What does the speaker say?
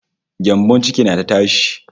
Gyambon ciki na ta tashi